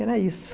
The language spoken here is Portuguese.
Era isso.